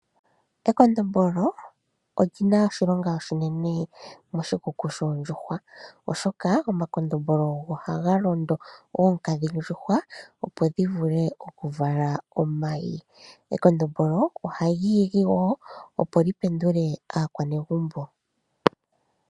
Ekondombolo oli na oshilonga oshinene moshikuku shoondjuhwa, oshoka omakondombolo ogo haga londo oonkadhindjuhwa, opo dhivule okuvala omayi. Ekondombolo ohali igi wo, opo li pendule aakwanegumbo.